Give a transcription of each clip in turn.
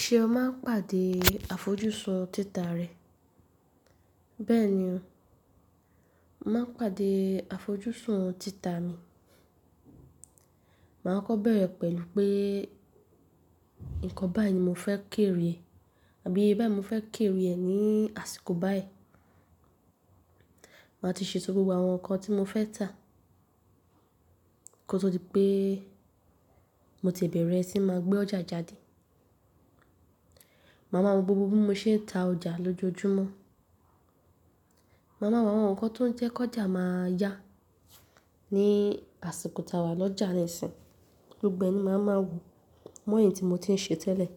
Ṣé o máa ń pàdé àfojúsùn títà rẹ? Bẹ́ẹ̀ ni o, n màá ń pàdé àfojúsùn títà mi. Màá kọ́ bẹ̀rẹ̀ pẹ̀lú pé nǹkan báyìí ni mo fẹ́ kéere e àbí iye báyìí mo fẹ́ kéere e ní àsìkò báyìí. Màá ti ṣe tó gbogbo àwọn nǹkan tí mo fẹ́ tà kó tó di pé mo ti e bẹ̀rẹ̀ sí máa gbé ọjà jáde. Màá máa wo gbogbo bí mo ṣe ń ta ọjà lójoojúmọ́. Màá máa wo àwọn nǹkan tó ń jẹ́ kí ọjà máa aa yá ní àsìkò tàwà lọ́jà rẹ si. Gbogbo e ni màá máa wò mọ̀ ẹyi tí mo ti ń ṣe tẹ́lẹ̀.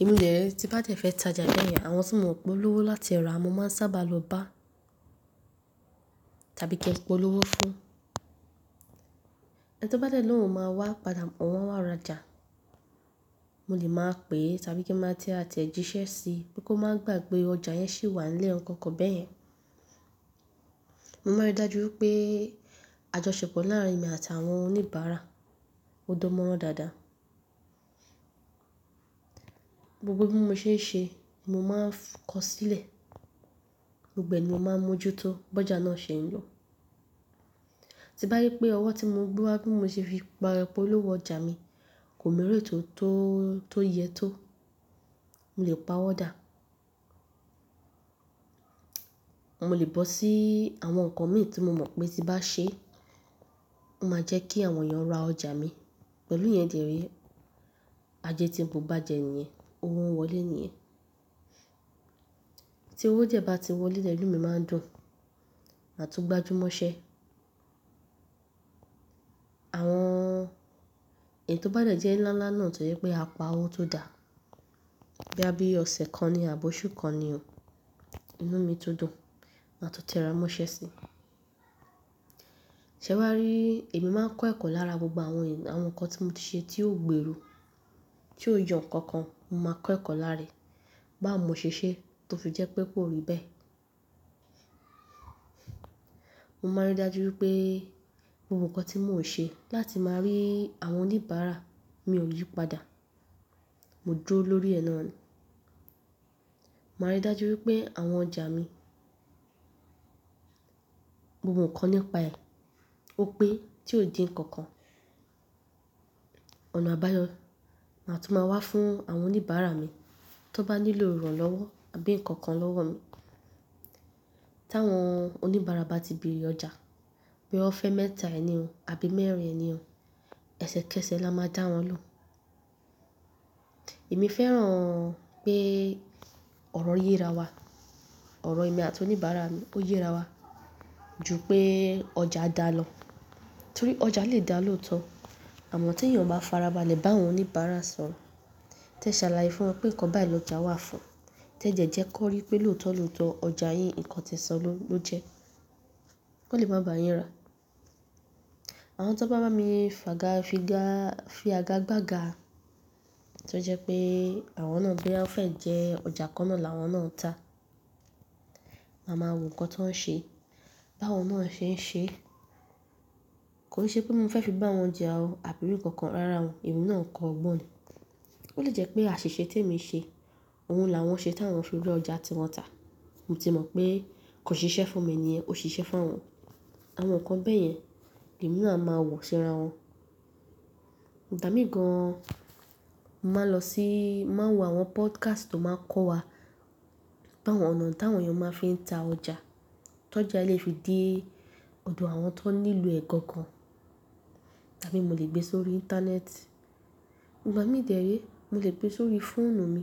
Then tí bá jẹ fẹ́ tajà beyen, àwọn tí mò mọ pé won lówó láti ra mó máa sábà lọ bá tàbí ki n polówó fún. Eyi tó bá dẹ̀ lóhùn máa wá padà mọ̀ wọ́n wà ra ọjà. Mo lè máa pè tàbí kí n máa tẹ àtẹ̀jíṣẹ́ sí pé kó máa gbàgbe ọjà yẹn ṣì wà nlè ọ́r nkọ̀ọ́ko bẹ́yẹn. Mo máa rí dájú wipé àjọṣepọ̀ láàrin mi àti àwọn oníbàárà ó dánmọ́rán dáadáa. Gbogbo bí mo ṣe ń ṣe, mo máa ń fu kọ sílẹ̀. Gbogbo e ni a màá ń mójú tó bọ́jà náà ṣe ń ri. Ti bá ri pé ọwọ́ tí mo gbé wá bí mo ṣe fi pa polówó ọjà mi kò mu reti to tó yẹ tó, mo lè pa owó dà. Mo lè bọ́ sí ii àwọn nǹkan mi tí mo mọ pé tí bá ṣe, ó máa jẹ́ kí àwọn èèyàn ra ọjà mi. Pẹ̀lú yẹn dè e ré, ajé tí ń búu gbaàjẹ́ nìyẹn, owó ń wọlé nìyẹn. Tí owó die bá ti wọlé lemi mi máa ń dùn màtún gbájúmọ́ṣẹ́. Àwọn èyí tó bá dẹ̀ jẹ́ ńláńláńlá náà tó jẹ́ pé a pa owó tó dà, bíya bí ọ̀sẹ̀ kan ni àbí oṣù kan ni o, inú mi tu dùn mà tún tẹramọ́sẹ́ sí i. Ṣé wá rí èmi máa ń kọ́ ẹ̀kọ́ lára gbogbo àwọn nǹkan tí mo ti ṣe tí ò gbèrú, tí ò yo nǹkankan, mo máa kọ́ ẹ̀kọ́ láàárín. Bá mu mo ṣèṣe tó fi jẹ́ pé kò rí bẹ́ẹ̀. Mo máa rí dájú wipé e gbogbo nǹkan tí mò ń ṣe láti máa ni àwọn oníbàárà mi ò yípadà. Mo dúró lórí ẹ nà ni. Máa rí dájú wipé àwọn ọjà mi gbogbo nǹkan nípa rẹ̀ ó pe tí ò dín nǹkan kan. Ọ̀nà àbáyọ ní ma tún máa wá fún àwọn oníbàárà mi tí wọ́n bá nílò ìrànlọ́wọ́ àbí nǹkan kan lọ́wọ́ mi. Tàwọn oníbàárà bá ti bèrè ọjà pé wọ́n fẹ́ mẹ́ta ẹ ni o àbí mẹ́rin ni o, ẹsẹ̀kẹsẹ̀ la máa dá wọn lóhun. Èmi fẹ́ràn pé ọ̀rọ̀ yé ra wa. Ọ̀rọ̀ èmi àti oníbàárà mi ó yé ra wa ju pé ọjà dá lọ. Torí ọjà lè dá lóòótọ́ àmọ́ tí èèyàn bá farabalẹ̀ bá àwọn oníbàárà sọ̀rọ̀, tẹ ṣàlàyé fún wọn pé nǹkan báyìí lọjà wà fún, tẹ de jẹ́ kọ́rí pé lóòótọ́ lóòótọ́ ọjà yín nǹkan tẹ sọ n lo ló jẹ́, ò lè máa bá yín rà. Àwọn tó bá máa ba mi fàgá figá fi àga gbàga tó jẹ́ pé àwọn náà boya o fẹ́ jẹ pe ọjà kan náà làwọn náà ń tà. Màá ma wò nǹkan ti woń ṣe, tawon náà ṣe ń ṣe. Kò se pé mo fẹ́ fi bá wọn jẹ à o àbí í nǹkankan rárá o, emi náà n kò ogbọ̀n ni. Ó lè jẹ́ pé àṣìṣe tí èmi ṣe, òhun là wọ́n ṣe tí àwọn fi ri ọjà tí wọ́n tà. Mo ti mọ̀ pé kò ṣiṣẹ́ fún mi niyen, ó ṣiṣẹ́ fún awọn. Àwọn nǹkan bẹ́ẹ̀ yẹn, èmi náà máa wò ṣíra wọn. Ìgbà míin gan mo máa lọ sí, mo máa wo àwọn podcast tó máa ń kọ́ wa táwon ọ̀nà tí àwọn èèyàn máa ń fi ta ọjà, tójà e lè fi di òdò àwọn tó nílò ẹ̀ gangan tàbí mo lè gbé sórí Íńtánẹ́ẹ̀tì. Ìgbà mí dè e ré, mo lè gbé sórí fóònù mi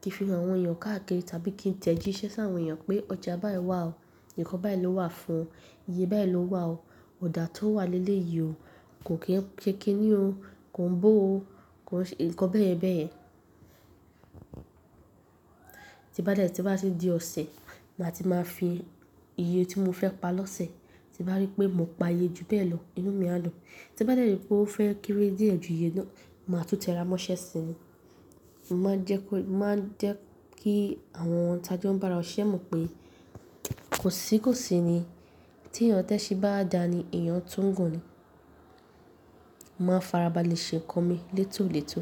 kí fi hàn àwọn èèyàn káàkiri tàbí kí tẹjíṣẹ́ sáwọn èèyàn pé ọjà báyìí wà o, nǹkan báyìí ló wà fún, iye báyìí ló wà o, ọ̀dà tó wà lélẹ̀ yìí o, kò kí ń ṣe kiní o, kò ń bó o, kò ń ṣe nǹkan bẹ́yenbeyẹn. Tí bá dẹ̀ tí bá ti di ọ̀sẹ̀ ma ti máa fi iye tí mo fẹ́ pa lọ́sẹ̀. Ti bá rí pé mò ń pa iye ju bẹ́ẹ̀ lọ, inú mi á dùn. Tí bá dẹ̀ rí pé ó fẹ́ kéré díẹ̀ ju iye náà, màá tún tẹramọ́sẹ́ sí i. Mo máa ń jẹ́ kó, mo máa ń jẹ́ kí àwọn ta jo ń bára siṣẹ́ mọ̀ pé kò sí kò sí ni. Tí èèyàn tẹ́sin bá dà ni èèyàn tún gùn ni. Mo máa farabalẹ̀ ṣe ǹkan mi létòlétò.